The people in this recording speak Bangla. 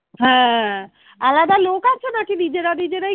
হ্যাঁ আলাদা লোক আছে নাকি নিজেরা নিজেরাই